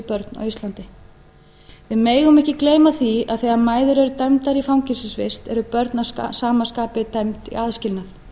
börn á íslandi við megum ekki gleyma því að þegar mæður eru dæmdar í fangelsisvist eru börn að sama skapi dæmd í aðskilnað